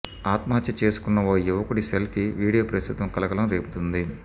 ఆత్మహత్య చేసుకున్న ఓ యువకుడి సెల్ఫీ వీడియో ప్రస్తుతం కలకలం రేపుతోంది